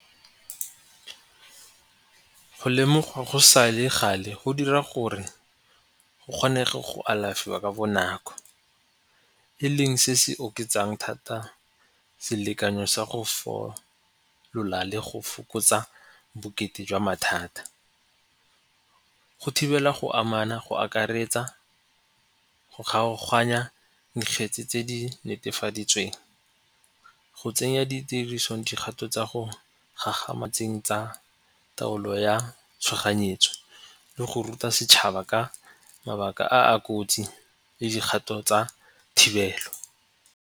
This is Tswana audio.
Go lemogwa go sa le gale go dira gore go kgone go alafiwa ka bonako. E leng se se oketsang thata selekanyo sa go le go fokotsa bokete jwa mathata. Go thibela go amana, go akaretsa, go kgaoganya dikgetsi tse di netefaditsweng, go tsenya ditirisong dikgato tsa go gagametseng tsa taolo ya tshoganyetso le go ruta setšhaba ka mabaka a a kotsi le dikgato tsa thibelo.